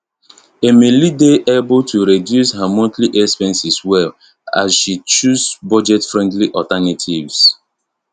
emily dey able to reduce her monthly expenses well as she choose budget friendly alternatives